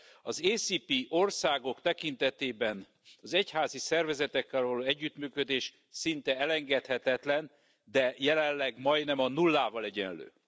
Az AKCS országok tekintetében az egyházi szervezetekkel való együttműködés szinte elengedhetetlen, de jelenleg majdnem a nullával egyenlő.